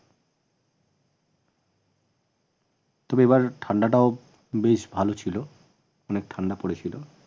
তবে এবার ঠান্ডাটাও বেশ ভাল ছিল অনেক ঠান্ডা পরে ছিল